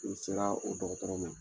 Ni sera o dɔgɔtɔrɔ ma